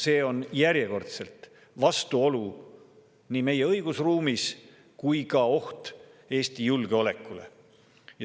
See on järjekordselt nii vastuolu meie õigusruumis kui ka oht Eesti julgeolekule.